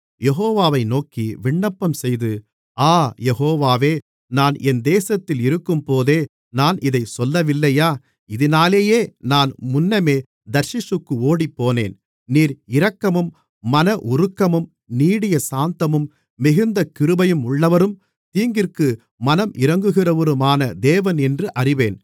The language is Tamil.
யெகோவாவை நோக்கி விண்ணப்பம்செய்து ஆ யெகோவாவே நான் என் தேசத்தில் இருக்கும்போதே நான் இதைச் சொல்லவில்லையா இதினாலேயே நான் முன்னமே தர்ஷீசுக்கு ஓடிப்போனேன் நீர் இரக்கமும் மன உருக்கமும் நீடிய சாந்தமும் மிகுந்த கிருபையுமுள்ளவரும் தீங்கிற்கு மனமிரங்குகிறவருமான தேவனென்று அறிவேன்